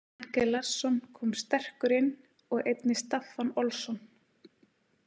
Henke Larsson kom sterkur inn og einnig Staffan Olsson.